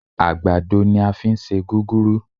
Àgbàdo ní á fí ń ṣe gúgúrú